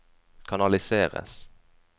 kanaliseres